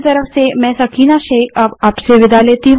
I I T Bombay की तरफ से मैं सकीना अब आप से विदा लेती हूँ